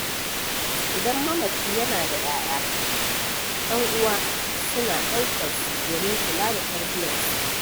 Idan mamaci yana da ƴaƴa ƴan'uwa suna ɗaukarsu domin kula da tarbiyyarsu